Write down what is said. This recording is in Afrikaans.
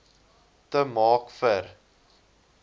te maak vir